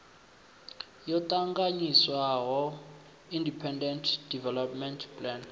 yo ṱanganyiswaho independent development plan